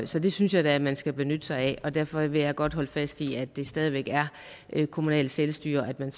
så det synes jeg da at man skal benytte sig af derfor vil jeg godt holde fast i at der stadig væk er kommunalt selvstyre og at man